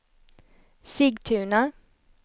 Sigtuna